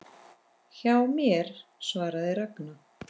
Hjá mér? svaraði Ragna.